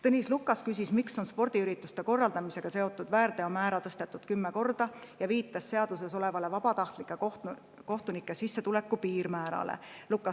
Tõnis Lukas küsis, miks on spordiürituste korraldamisega seotud.